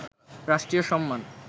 রাষ্ট্রীয় সম্মান